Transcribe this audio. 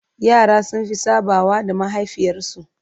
yara sun Fi sabawa da mahaifiyar su